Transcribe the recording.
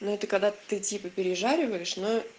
ну это когда ты типа переживаешь но